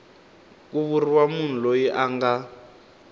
ku vuriwa munhu loyi anga